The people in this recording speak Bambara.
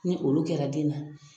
Ni olu kɛra den na.